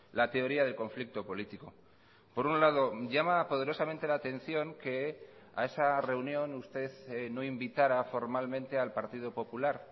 la teoría de conflicto político por un lado llama poderosamente la atención que a esa reunión usted no invitara formal mente al partido popular